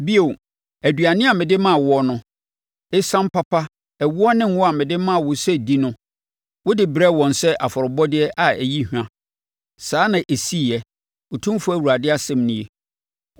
Bio, aduane a mede maa woɔ no, esiam papa, ɛwoɔ ne ngo a mede maa wo sɛ di no, wode brɛɛ wɔn sɛ afɔrebɔdeɛ a ɛyi hwa. Saa na ɛsiiɛ, Otumfoɔ Awurade asɛm nie.